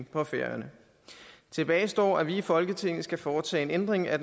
på færøerne tilbage står at vi i folketinget skal foretage en ændring af